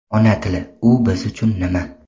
Ona tili — u biz uchun nima?.